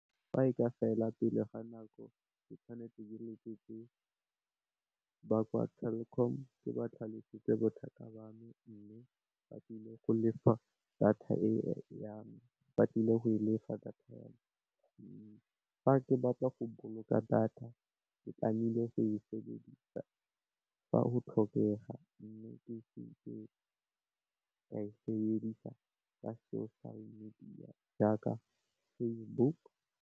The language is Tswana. Fa e ka fela pele ga nako ke tshwanetse ke letsetse ba kwa Telkom ke ba tlhalosetse bothata ba me, mme, ba tlile go lefa data ya me, fa ke batla go boloka data ke tlameile go e sebedisa fa go tlhokega mme, ke seke ka e sebedisa ka social media jaaka Facebook.